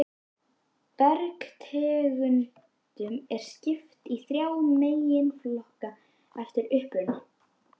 Bergtegundum er skipt í þrjá meginflokka eftir uppruna